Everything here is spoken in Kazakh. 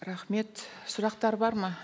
рахмет сұрақтар бар ма